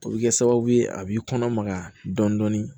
O bɛ kɛ sababu ye a b'i kɔnɔ maga dɔɔni